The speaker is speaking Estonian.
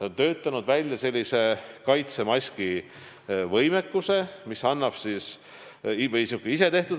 on meil välja töötatud kaitsemaskide tootmise võimekus.